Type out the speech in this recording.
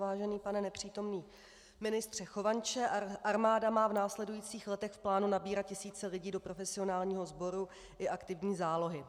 Vážený pane nepřítomný ministře Chovanče, armáda má v následujících letech v plánu nabírat tisíce lidí do profesionálního sboru i aktivní zálohy.